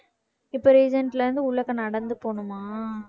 இப்ப இருந்து உள்ளக்க நடந்து போகணுமா